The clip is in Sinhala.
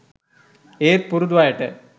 ඒත් පුරුදු අයට